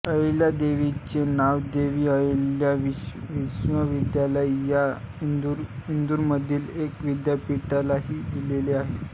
अहिल्यादेवींचे नाव देवी अहिल्या विश्वविद्यालय या इंदूरमधील एका विद्यापीठालाही दिलेले आहे